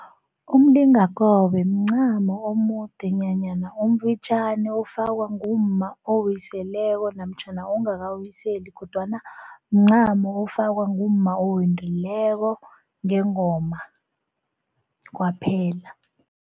Umlingakobe mncamo omude nanyana omfitjhani ofakwa ngumma owiseleko namtjhana ongakawiseli kodwana mncamo ofakwa ngumma owendileko ngengoma kwaphela.